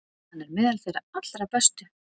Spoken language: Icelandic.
Hann er meðal þeirra allra bestu.